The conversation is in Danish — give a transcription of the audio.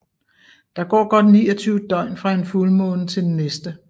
Der går godt 29 døgn fra en fuldmåne til den næste